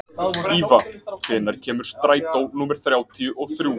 Íva, hvenær kemur strætó númer þrjátíu og þrjú?